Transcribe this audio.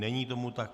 Není tomu tak.